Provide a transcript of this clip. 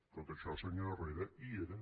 tot això senyor herrera hi era